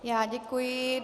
Já děkuji.